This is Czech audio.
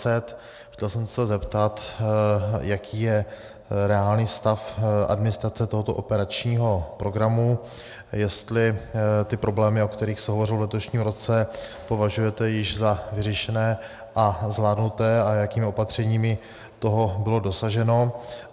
Chtěl jsem se zeptat, jaký je reálný stav administrace tohoto operačního programu, jestli ty problémy, o kterých se hovořilo v letošním roce, považujete již za vyřešené a zvládnuté a jakými opatřeními toho bylo dosaženo.